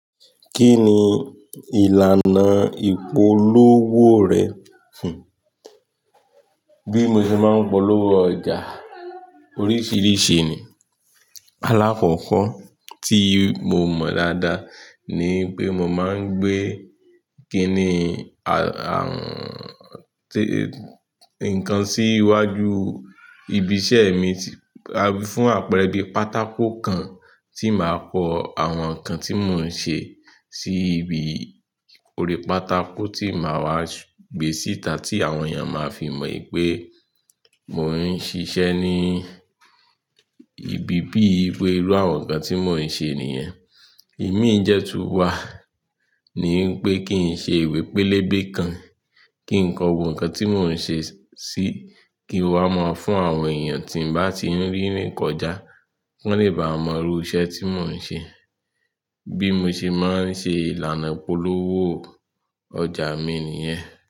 Kí ni ìlànà ìpolówó rẹ̀ fún? Bí mo ṣe máa ń polówó ọjà oríṣiríṣi ni. Àkọ́kọ́ tí mo mọ̀ dáadáa ni pé mo máa ń gbé- nǹkan ennn- nǹkan sí iwájú. Ibi iṣẹ́ mi, fún àpẹẹrẹ bí pátákó kan tí màá kọ àwọn nǹkan tí mò ń ṣe sí ibi orí pátákó tí màá wá gbé síta tí àwọn èèyàn máa fi mọ̀ pé mò ń ṣiṣẹ́ ní ibi bí i pé irú àwọn nǹkan tí mò ń ṣe nìyẹn. Ẹ̀mí dẹ̀ tún wà, ni pé kí n ṣe ìwé pélébé kan, kí n kọ gbogbo nǹkan tí mò ń ṣe sí, kí wá máa fún àwọn èèyàn tí ń bá ti rí ní kọjá, kí ó lè bà mọ̀ irú iṣẹ́ tí mò ń ṣe. Bí mo ṣe máa ń ṣe ìlànà ìpolówó ọjà mi nìyẹn.